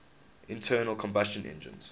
internal combustion engines